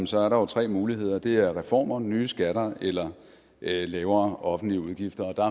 så er der jo tre muligheder det er reformer nye skatter eller lavere offentlige udgifter og